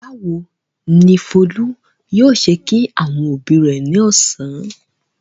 Báwo ni Folú yóò ṣe kí àwọn òbí rẹ̀ ní ọ̀sán?